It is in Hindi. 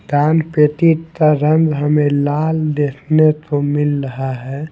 दान पेटी का रंग हमें लाल देखने को मिल रहा है।